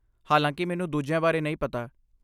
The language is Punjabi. ਹਾਲਾਂਕਿ, ਮੈਨੂੰ ਦੂਜਿਆਂ ਬਾਰੇ ਨਹੀਂ ਪਤਾ